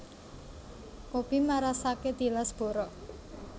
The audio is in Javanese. Kopi marasake tilas borok